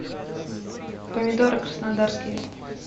помидоры краснодарские